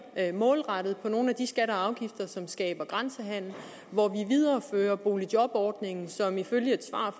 målrettet på nogle af de skatter og afgifter som skaber grænsehandel hvor vi viderefører boligjobordningen som ifølge et svar